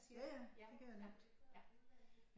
Ja ja det kan jeg nemt